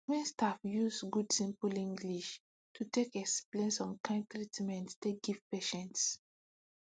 wen staff use good simple english to take explain some kind treatment take give patients